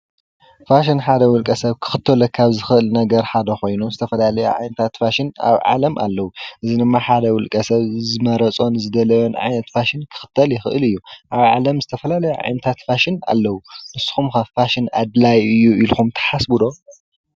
ፋሽን ሓደ ዉልቀ ሰብ ክኽተሎ ካብ ዝኽእል ነገር ሓደ ኾይኑ ዝተፈላለዩ ዓይነታት ፋሽን ኣብ ዓለም ኣለዉ። አዚ ድማ ሓደ ዉልቀ ሰብ ዝመረፆን ዝደለዮን ዓይነት ፋሽን ክኽተል ይኽእል እዩ። ኣብ ዓለም ዝተፈላለዩ ዓይነታት ፋሽን ኣለዉ። ንስኹም ኸ ፋሽን ኣድላይ እዩ ኢልኹም ትሓስቡ ዶ?